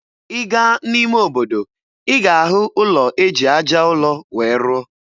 Ị gaa n'ime obodo, ị ga-ahụ ụlọ eji aja ụlọ wee rụọ.